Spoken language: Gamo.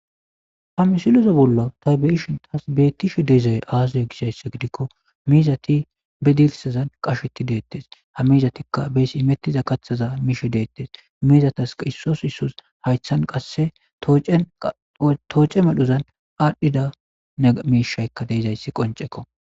Ha misiloza bolla taybeishon taas bettishe deezay aazaya gishaysse gidikko miizati bidilsazan qasheti deettes ha miizatikka bees imettiza kathaza miishe deettes miizatas issos issus haythan qasse tooce madhuzan aadhdhida emiishaykka deezayssi qoncekko